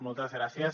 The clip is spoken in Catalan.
moltes gràcies